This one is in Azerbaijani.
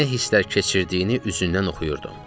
Nə hisslər keçirdiyini üzündən oxuyurdum.